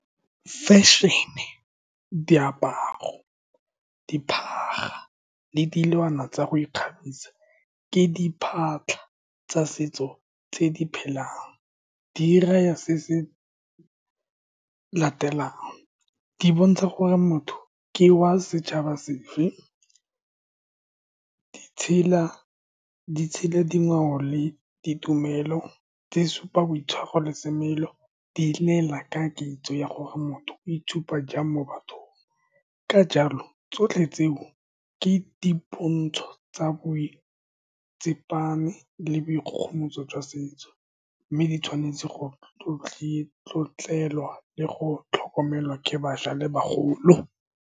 Fashion-ne, diaparo, dibaga le dilwana tsa go ikgabisa, ke tsa setso tse di phelang di raya se se latelang, di bontsha gore motho ke wa setšhaba sefe di tshela dingwao le ditumelo, tse di supang boitshwaro le semelo. Di lela ka kitso ya gore motho o itshupa jang mo bathong. Ka jalo, tsotlhe tseo ke dipontsho tsa boitsepame le boikgogomoso jwa setso, mme di tshwanetse go tlotlelwa le go tlhokomelwa ke bašwa le bagolo.